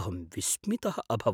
अहम् विस्मितः अभवम्।